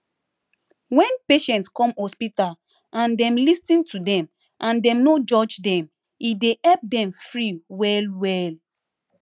wen patient come hospital and dem lis ten to dem and dem no judge dem e dey help dem free well well